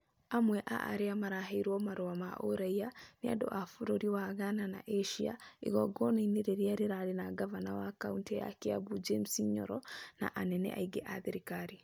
Amwe a arĩa maaheirwo marũa ma ũraiya nĩ andũ a bũrũri wa Ghana na Asia, igongona-inĩ rĩrĩa rĩarĩ na ngavana wa Kaunti ya Kiambu, James Nyoro, na anene angĩ a thirikari.